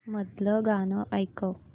मधलं गाणं ऐकव